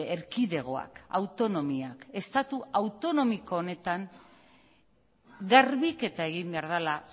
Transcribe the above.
erkidegoak autonomiak estatu autonomiko honetan garbiketa egin behar dela